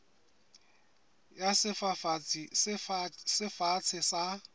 ya sefafatsi se fatshe sa